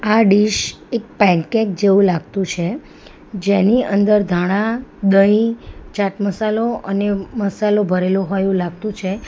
આ ડીશ એક પેનકેક જેવું લાગતું છે જેની અંદર ધાણા દહીં ચાટ મસાલો અને મસાલો ભરેલો હોય એવું લાગતું છે.